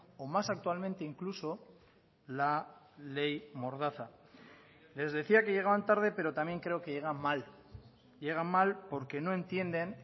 o más actualmente incluso la ley mordaza les decía que llegaban tarde pero también creo que llegan mal llegan mal porque no entienden